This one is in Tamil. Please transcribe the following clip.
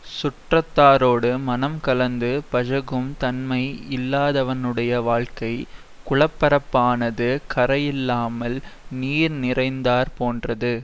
சுற்றத்தாரோடு மனம் கலந்து பழகும் தன்மை இல்லாதவனுடைய வாழ்க்கை குளப்பரப்பானது கரையில்லாமல் நீர் நிறைந்தாற் போன்றது